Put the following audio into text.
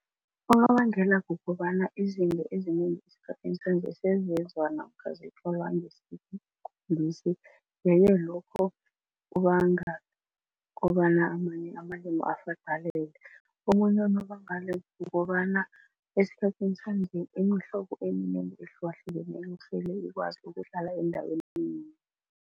Unobangela kukobana izinto ezinengi esikhathini sanje namkha zithwalwa yeke lokho kubanga kobana amanye amalimi . Omunye unobangela kukobana esikhathini sanje iimhlobo eminengi ehlukahlukeneko sele ikwazi ukuhlala endaweni yinye.